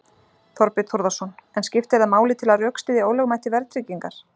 Þorbjörn Þórðarson: En skiptir það máli til að rökstyðja ólögmæti verðtryggingar?